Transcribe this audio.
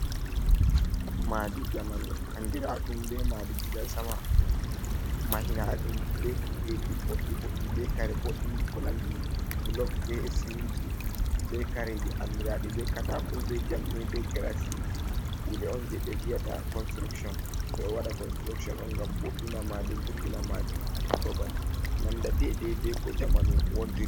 Madi jamanu andira ɗum be madi gida sama mahina ɗum be kudeji boddi boɗɗi be kare boɗɗi ko nandi blog be siminti be kare andiraɗi be katako be jamɗe be grasdi kuɗe on je be viyata constroktion do ɓe waɗa constroktion on ngam boɗɗina madi vurtina madi ha babal nanda dedai be ko jamanu wontidi.